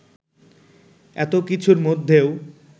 এতো কিছুর মধ্যেও